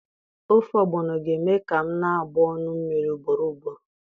Ofe Ogbono ga-eme ka m na-agbụ ọnụ mmiri ugboro ugboro.